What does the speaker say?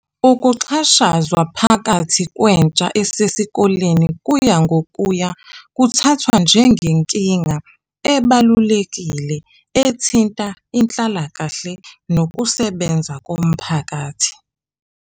Ukuxhashazwa phakathi kwentsha esesikoleni kuya ngokuya kuthathwa njengenkinga ebalulekile ethinta inhlalakahle nokusebenza komphakathi.